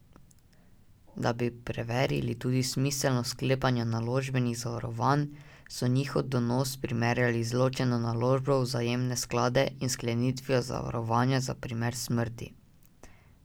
Da bi preverili tudi smiselnost sklepanja naložbenih zavarovanj, so njihov donos primerjali z ločeno naložbo v vzajemne sklade in sklenitvijo zavarovanja za primer smrti.